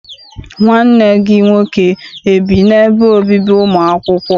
Nwanne gị nwoke ebi n'ebe obibi ụmụ akwụkwọ?